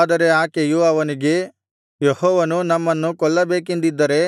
ಆದರೆ ಆಕೆಯು ಅವನಿಗೆ ಯೆಹೋವನು ನಮ್ಮನ್ನು ಕೊಲ್ಲಬೇಕೆಂದಿದ್ದರೆ